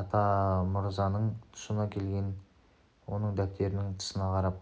атамырзаның тұсына келгенде оның дәптерінің тысына қарап